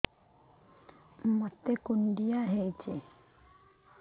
ମୋତେ କୁଣ୍ଡିଆ ହେଇଚି